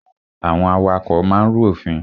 Àwọn awakọ̀ máa ń rú òfin.